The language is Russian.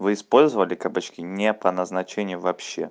вы использовали кабачки не по назначению вообще